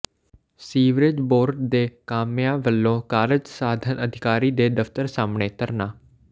sewerage board ਦੇ ਕਾਮਿਆਂ ਵੱਲੋਂ ਕਾਰਜ ਸਾਧਕ ਅਧਿਕਾਰੀ ਦੇ ਦਫ਼ਤਰ ਸਾਹਮਣੇ ਧਰਨਾ